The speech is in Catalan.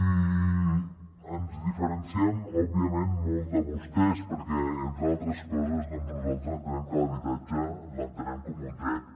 i ens diferenciem òbviament molt de vostès perquè entre altres coses doncs nosaltres entenem que l’habitatge l’entenem com un dret